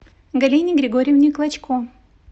галине григорьевне клочко